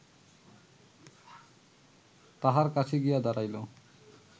তাঁহার কাছে গিয়া দাঁড়াইল